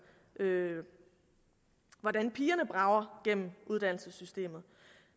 hvordan pigerne brager gennem uddannelsessystemet